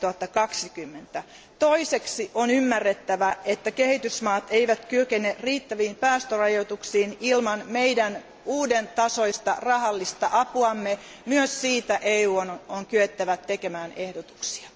2020. Toiseksi on ymmärrettävä, että kehitysmaat eivät kykene mukautumaan riittäviin päästörajoituksiin ilman meidän uudentasoista rahallista apuamme, myös siitä EUn on kyettävä tekemään ehdotuksia.